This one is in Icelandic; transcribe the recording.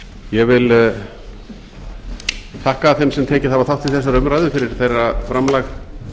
ég vil þakka þeim sem tekið hafa þátt í þessari umræðu fyrir þeirra framlag